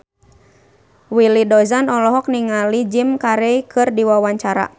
Willy Dozan olohok ningali Jim Carey keur diwawancara